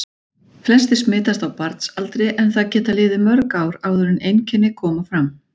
Flestir smitast á barnsaldri en það geta liðið mörg ár áður en einkenni koma fram.